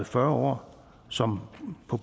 fyrre år som på